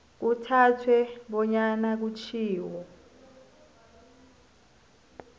kuthathwe bonyana kutjhiwo